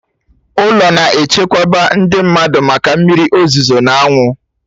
Ụlọ na-echekwaba ndị mmadụ maka mmiri ozuzo n'anwụ